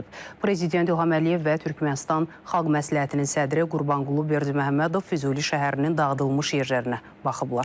Prezident İlham Əliyev və Türkmənistan xalq məsləhətinin sədri Qurbanqulu Berdiməhəmmədov Füzuli şəhərinin dağıdılmış yerlərinə baxıblar.